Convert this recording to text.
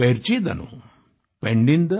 पेन्निंदा ब्रूहू पर्चिदानु